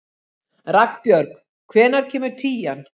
Ragnbjörg, hvenær kemur tían?